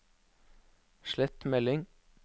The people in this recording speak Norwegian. slett melding